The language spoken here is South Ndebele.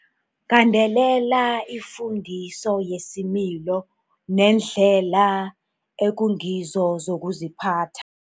Gandelela ifundiso yesimilo neendlela ekungizo zokuziphatha.